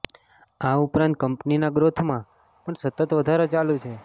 આ ઉપરાંત કંપનીના ગ્રોથમાં પણ સતત વધારો ચાલુ છે